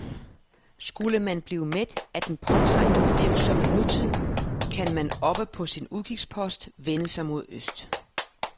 Skulle man blive mæt af den påtrængende, virksomme nutid, kan man oppe på sin udkigspost vende sig mod øst.